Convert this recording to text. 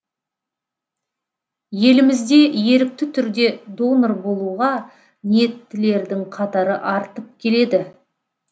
елімізде ерікті түрде донор болуға ниеттілердің қатары артып келеді